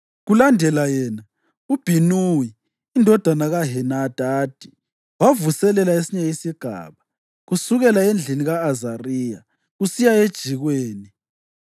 Kulandela yena, uBhinuwi indodana kaHenadadi wavuselela esinye isigaba, kusukela endlini ka-Azariya kusiya ejikweni,